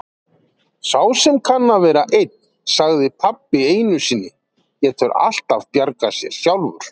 Sá sem kann að vera einn, sagði pabbi einu sinni, getur alltaf bjargað sér sjálfur.